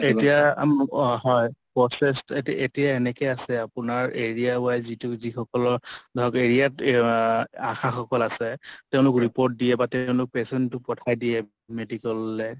এতিয়া অ ম হয় process এ এতিয়া এনেকেই আছে আপোনাৰ area wise যিটো যি সকলৰ ধৰক area ব আশা সকল আছে তেওঁলোক report দিয়ে বা তেওঁলোক patient টো পঠাই দিয়ে medical লে।